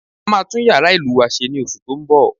A máa tún yàrá ìlù wa se ní oṣù tó ń bọ̀